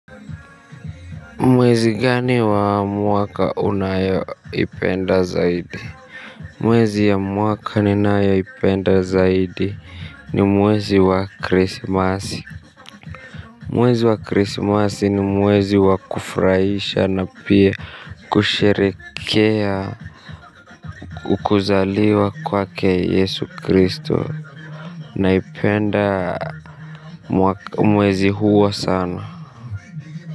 Mwezi gani wa mwaka unayo ipenda zaidi? Mwezi ya mwaka ninayo ipenda zaidi. Ni mwezi wa chrismasi. Mwezi wa chrismasi ni mwezi wa kufraisha na pia kusherekea kuzaliwa kwake Yesu Kristo. Na ipenda mwezi huo sano.